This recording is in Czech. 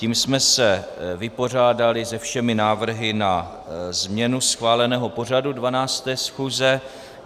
Tím jsme se vypořádali se všemi návrhy na změnu schváleného pořadu 12. schůze.